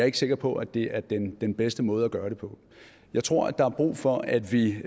ikke sikker på at det er den den bedste måde at gøre det på jeg tror at der er brug for at vi